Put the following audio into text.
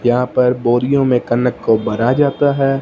यहां पर बोरियों में कनक को भरा जाता है।